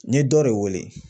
N ye dɔ de wele.